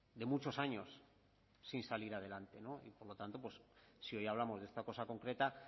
de muchos años sin salir adelante y por lo tanto si hoy hablamos de esta cosa concreta